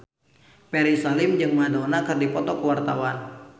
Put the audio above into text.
Ferry Salim jeung Madonna keur dipoto ku wartawan